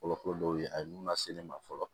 Fɔlɔ fɔlɔ dɔw ye a ye mun lase ne ma fɔlɔ